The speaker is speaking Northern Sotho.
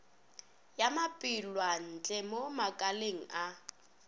ya matpwelantle mo makaleng a